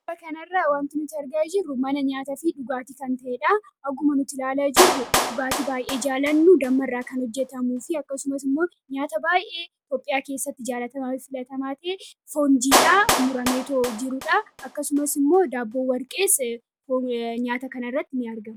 Suuraa kanarraa kan nuti argaa jirru mana nyaataafi dhugaatiiti. Akkuma nuti ilaalaa jirru dhugaatii baay'ee jaallannu dammarraa kan hojjetamuu fi akkasumas immoo nuaata baay'ee Itoophiyaa keessatti jaallatamaa fi filatamaa ta'e foon jiidhaa murameetoo jirudha. Akkasumas daabboon warqee nyaata kanarratti ni argama.